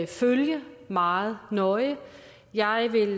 følge meget nøje og jeg vil